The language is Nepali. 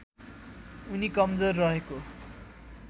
उनी कमजोर रहेको